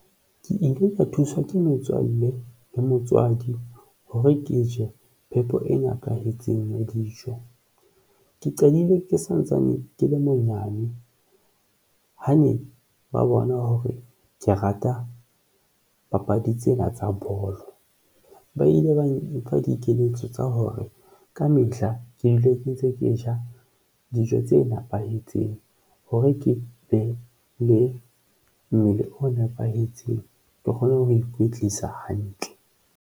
Ke ile ka thuswa ke metswalle le motswadi hore ke je phepo e nepahetseng ya dijo. Ke qadile ke santsane ke le monyane, ha ne ba bona hore ke rata papadi tsena tsa bolo ba ile ba mpha dikeletso tsa hore kamehla ke le ke ntse ke ja dijo tse nepahetseng hore ke be le mmele o nepahetseng, ke kgone ho ikwetlisa hantle.